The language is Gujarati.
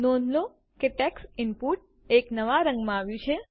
નોંધ લો કે ટેક્સ્ટ ઇનપુટ એક નવા રંગમાં આવ્યું છે